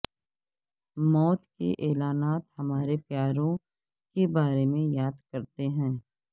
موت کے اعلانات ہمارے پیاروں کے بارے میں یاد کرتے ہیں